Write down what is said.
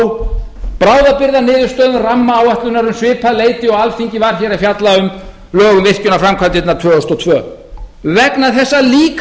og þau lágu á bráðabirgðaniðurstöðum rammaáætlunar um svipað leyti og alþingi var hér að fjalla um lög um virkjunarframkvæmdirnar tvö þúsund og tvö vegna þess að líka